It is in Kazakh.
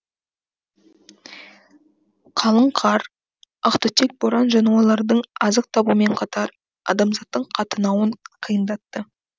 қалың қар ақтүтек боран жануарлардың азық табуымен қатар адамзаттың қатынауын қиындатты